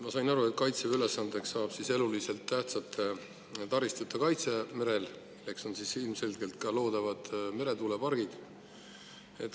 Ma sain aru, et Kaitseväe ülesandeks saab eluliselt tähtsate taristute kaitse merel, ilmselgelt on nende hulgas ka loodavad meretuulepargid.